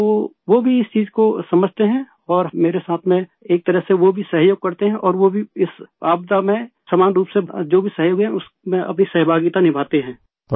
تو وہ بھی اس چیز کو سمجھتے ہیں اور میرے ساتھ ایک طرح سے وہ بھی معاونت کرتے ہیں اور وہ بھی اس مصیبت میں عام طور سے جو بھی تعاون ہے اس میں اپنی حصہ داری پیش کرتے ہیں